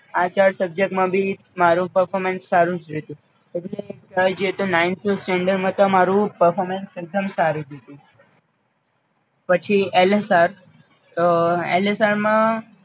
આ ચાર Subject માં ભી મારુ performance સારું જ રયુ તુ પઈ Ninth Standard માં તો મારુ performance એક દમ સારું રયુતુ. પછી એલએસઆર તો એલએસઆર માં